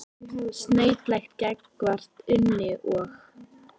Snautlegt líka gagnvart Unni og